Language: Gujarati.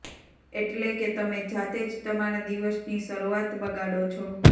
એટલે કે તમે જાતે જ તમારા દિવસની શરૂઆત બગાડો છો